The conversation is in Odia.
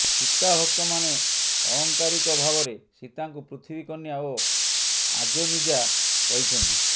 ସୀତାଭକ୍ତମାନେ ଆଳଙ୍କାରିକ ଭାବରେ ସୀତାଙ୍କୁ ପୃଥିବୀ କନ୍ୟା ଓ ଅଯୋନିଜା କହିଛନ୍ତି